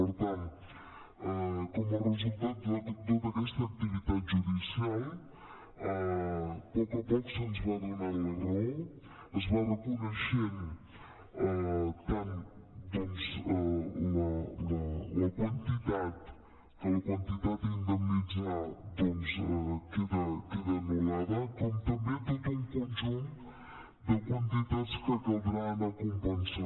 per tant com a resultat de tota aquesta activitat judicial poc a poc se’ns va do·nant la raó es va reconeixent tant doncs que la quantitat a indemnitzar queda anul·lada com també tot un conjunt de quantitats que caldrà anar compensant